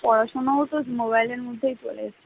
পড়াশোনাও তো মোবাইলের মধ্যে চলে এসেছে।